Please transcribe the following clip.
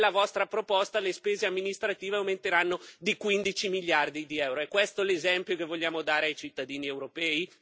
Nella vostra proposta, le spese amministrative aumenteranno di 15 miliardi di euro. È questo l'esempio che vogliamo dare ai cittadini europei?